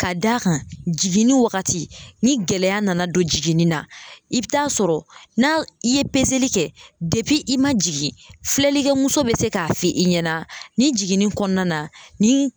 Ka d'a kan jiginni waagati ni gɛlɛya nana don jiginni na i bɛ taa sɔrɔ n'a i ye peseli kɛ i man jigin filɛlikɛ muso bɛ se k'a f'i ɲɛna ni jiginni kɔnɔna na ni.